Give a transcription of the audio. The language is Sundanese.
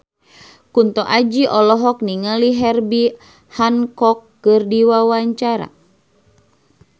Kunto Aji olohok ningali Herbie Hancock keur diwawancara